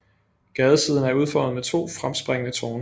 Gadesiden er udformet med to fremspringende tårne